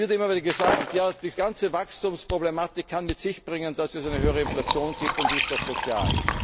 Es wird immer wieder gesagt Ja, die ganze Wachstumsproblematik kann mit sich bringen, dass es eine höhere Inflation gibt, und die ist doch